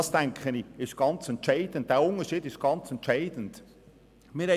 Ich denke, dass dieser Unterschied entscheidend ist.